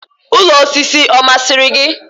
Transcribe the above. Ụlọ osisi ọ masịrị gị?